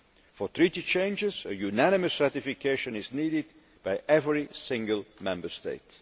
For Treaty changes, a unanimous ratification is needed by every single Member State.